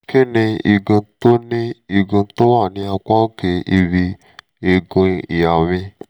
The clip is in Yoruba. kí ni igun tó ni igun tó wọ́ ní apá òkè ibi eegun ìhà mi?